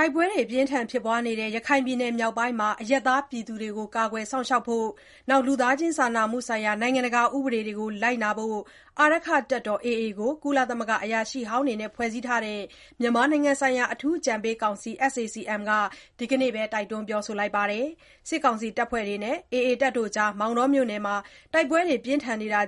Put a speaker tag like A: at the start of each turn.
A: တိုက်ပွဲတွေ ဖြစ်ပွားနေတဲ့ ရခိုင်ပြည်နယ် မြောက်ပိုင်းမှာ အရပ်သားတွေကို ကာကွယ်စောင့်ရှောက်ဖို့နဲ့ လူသားချင်း စာနာမှုဆိုင်ရာ နိုင်ငံတကာ ဥပဒေတွေကို လိုက်နာဖို့ အာရက္ခတပ်တော် (AA) အဖွဲ့ကို ကုလသမဂ္ဂ အရာရှိဟောင်းတွေနဲ့ ဖွဲ့စည်းထားတဲ့ မြန်မာနိုင်ငံဆိုင်ရာ အထူးအကြံပေးကောင်စီ (SAC-M) က ဒီကနေ့ပဲ တိုက်တွန်းလိုက်ပါတယ်။ စစ်ကောင်စီတပ်ဖွဲ့တွေနဲ့ AA ကြား မောင်တောမြို့နယ်မှာ တိုက်ပွဲတွေ